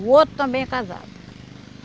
O outro também é casado.